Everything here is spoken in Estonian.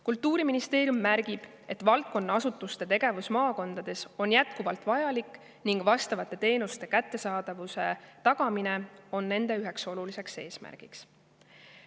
Kultuuriministeerium märgib, et valdkonna asutuste tegevus maakondades on jätkuvalt vajalik ning vastavate teenuste kättesaadavuse tagamine on nende üheks oluliseks eesmärgiks.